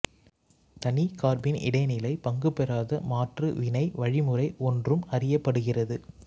தனி கார்பீன் இடைநிலை பங்குபெறாத மாற்று வினை வழிமுறை ஒன்றும் அறியப்படுகிறது